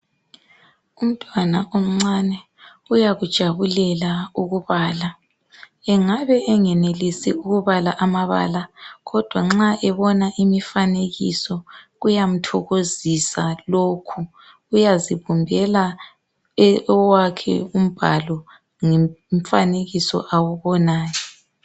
Umntwana omncane, uyakujabulela ukubala. Engabe engenelisi ukubala amabala, kodwa nxa ebona imifanekiso. Kuyamthokozisa lokhu. Uyazibumbela owakhe umbhalo, ngomfanekiso awubonayo.